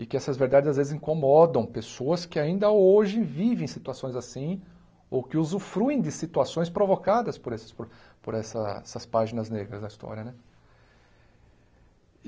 e que essas verdades às vezes incomodam pessoas que ainda hoje vivem situações assim ou que usufruem de situações provocadas por essas po por essas páginas negras da história né.